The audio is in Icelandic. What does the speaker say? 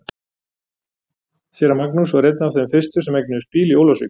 Séra Magnús var einn af þeim fyrstu sem eignuðust bíl í Ólafsvík.